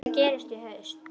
Hvað gerist í haust?